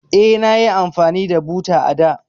Eh, nayi amfani da buta a da.